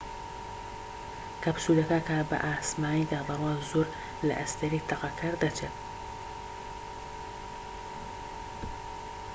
کەپسولەکە کە بە ئاسمانیدا دەڕوات زۆر لە ئەستێرەی تەقەکەر دەچێت